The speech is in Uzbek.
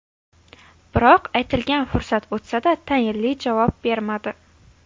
Biroq aytilgan fursat o‘tsa-da, tayinli javob bermadi.